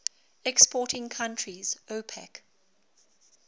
exporting countries opec